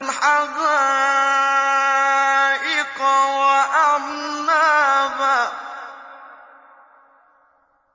حَدَائِقَ وَأَعْنَابًا